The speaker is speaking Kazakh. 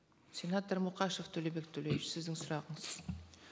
сенатор мұқашев төлебек төлеуович сіздің сұрағыңыз